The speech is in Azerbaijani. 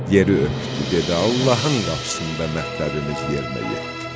Yeri öpdü, dedi: Allahın qapısında mərtəbəmiz yerə yetdi.